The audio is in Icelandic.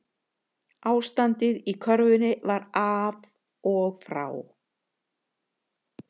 Ástandið í körfunni var af og frá